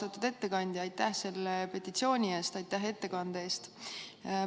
Austatud ettekandja, aitäh selle petitsiooni eest ja aitäh ka ettekande eest!